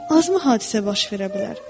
“Azmı hadisə baş verə bilər?”